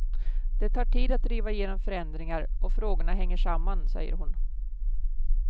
Det tar tid att driva igenom förändringar och frågorna hänger samman, säger hon.